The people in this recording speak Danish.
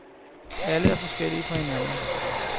Alle er forskellige fra hinanden.